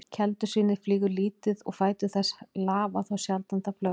Keldusvínið flýgur lítið og fætur þess lafa þá sjaldan það flögrar.